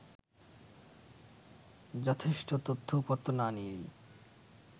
যথেষ্ঠ তথ্য উপাত্ত না নিয়েই